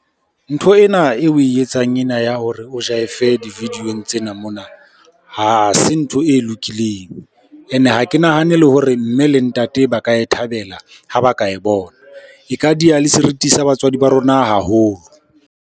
Ntho ena eo oe etsang ena ya hore o jive-e di-video-ong tsena mona, ha se ntho e lokileng. Ene ha ke nahane le hore mme le ntate ba ka e thabela ha ba ka e bona. E ka diya le seriti sa batswadi ba rona haholo.